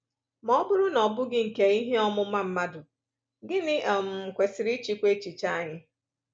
Ma ọ bụrụ na ọ bụghị nkà ihe ọmụma mmadụ, gịnị um kwesịrị ịchịkwa echiche anyị?